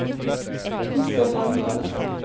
Krister Lande